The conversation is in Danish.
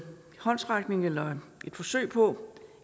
håndsrækning eller et forsøg på